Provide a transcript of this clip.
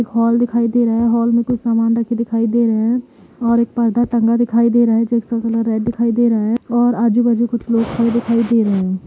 एक हॉल दिखाइ दे रहा है। हॉल में कुछ सामान रखे दिखायी दे रहे हैं। और एक पर्दा टंगा दिखाइ दे रहा है जिसका कलर रेड दिखाई दे रहा है और आजू बाजु कुछ लोग खड़े दिखाई दे रहे हैं।